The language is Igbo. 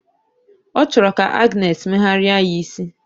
O choro ka Agness meghari ya isi.